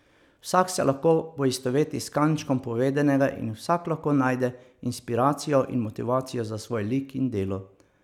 Vsak se lahko poistoveti s kančkom povedanega in vsak lahko najde inspiracijo in motivacijo za svoj lik in delo.